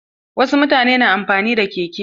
Wasu mutanen da na amfani da keke.